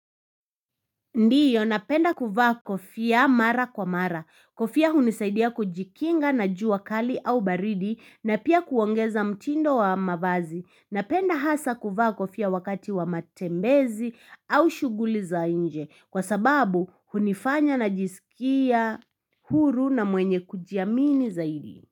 Ndiyo napenda kuvaa kofia mara kwa mara. Kofia hunisaidia kujikinga na jua kali au baridi na pia kuongeza mtindo wa mavazi. Napenda hasa kuvaa kofia wakati wa matembezi au shuguli za nje kwa sababu hunifanya najisikia huru na mwenye kujiamini zaidi.